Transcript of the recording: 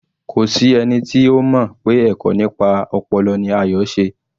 Kò sí ẹni tí ó mọ̀ pé ẹ̀kọ́ nípa ọpọlọ ni Ayo se